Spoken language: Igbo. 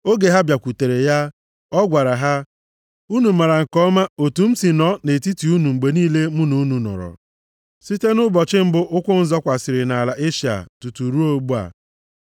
Oge ha bịakwutere ya, ọ gwara ha, “Unu maara nke ọma otu m si nọ nʼetiti unu mgbe niile mụ na unu nọrọ, site nʼụbọchị mbụ ụkwụ m zọkwasịrị nʼala Eshịa tutu ruo ugbu a.